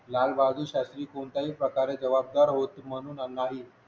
लाल बहादूर शास्त्री कोणत्याही प्रकारे जबाबदार होत म्हणून त्यांनाही